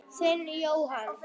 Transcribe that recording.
Þinn, Jóhann.